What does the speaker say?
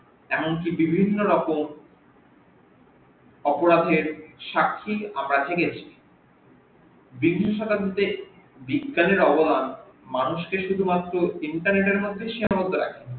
এমনকি বিভিন্ন রকম অপরাধের সাক্ষ্যই আমরা থেকেছি বিংশ শতাব্দীতে বিজ্ঞানের অবদান মানুষকে শুধুমাত্র internet এর মধ্যেই সীমাবদ্ধ রাখেনি